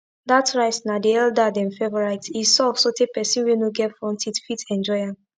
dat rice na di elder dem favorite e soft sotay pesin wey no get front teeth fit enjoy am